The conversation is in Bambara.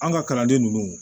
An ka kalanden ninnu